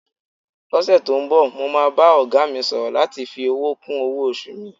Lọ́sẹ̀ tó ń bọ̀, mo máa bá ọ̀gá mi sọ̀rọ̀ láti fi owó kún owó-oṣù mi.